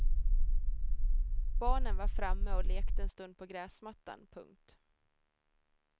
Barnen var framme och lekte en stund på gräsmattan. punkt